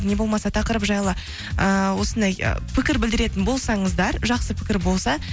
не болмаса тақырып жайлы ыыы осындай пікір білдіретін болсаңыздар жақсы пікір болса